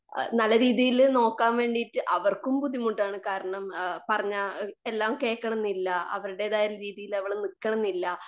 ആ നല്ല രീതിയില് നോക്കാൻ വേണ്ടീട്ട് അവർക്കും ബുദ്ധിമുട്ടാണ്. കാരണം പറഞ്ഞാൽ എല്ലാം കേക്കണമെന്നില്ല. അവരുടേതായ രീതിയിൽ അവൾ നിക്കണമെന്നില്ല.